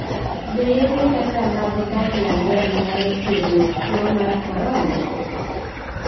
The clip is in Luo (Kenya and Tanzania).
Be yedhe kaka mag banlangen nyalo thiedho tuwo mar korona?